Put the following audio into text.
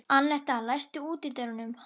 Annetta, læstu útidyrunum.